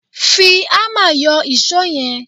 Fi ámà yọ ìṣó yẹn